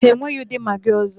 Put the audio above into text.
Ha enweghị ụdị Magị ọzọ.